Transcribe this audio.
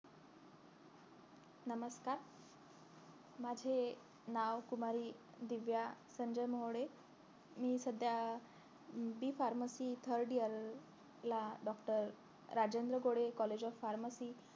नमस्कार माझे नाव कुमारी दिव्या संजय मोरे मी सध्या अं B pharmacy third year ला doctor Rajendra Gode college of farmacy